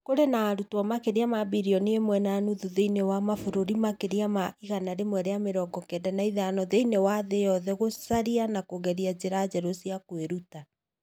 kũrĩ na arutwo makĩria ma bilioni ĩmwe na nuthu thĩinĩ wa mabũrũri makĩria ma 195 thĩinĩ wa thĩ yothe gũcaria na kũgeria njĩra njerũ cia kwĩruta.